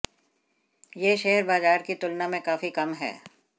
यह शेयर बाजार की तुलना में काफी कम है